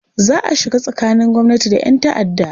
Za a shiga tsakanin gwamnati da 'yan ta'adda